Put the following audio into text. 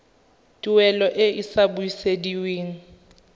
tuelo e e sa busediweng